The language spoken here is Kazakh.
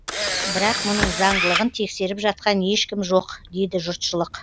бірақ мұның заңдылығын тексеріп жатқан ешкім жоқ дейді жұртшылық